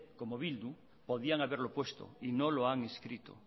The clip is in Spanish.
como bildu podían haberlo puesto y no lo han inscrito